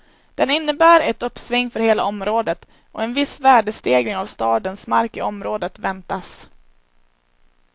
Den innebär ett uppsving för hela området, och en viss värdestegring av stadens mark i området väntas.